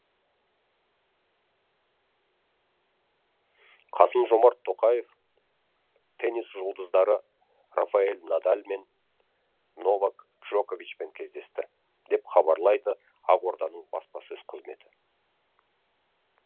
қасым жомарт тоқаев теннис жұлдыздары рафаэль надаль мен новак джоковичпен кездесті деп хабарлайды ақорданың баспасөз қызметі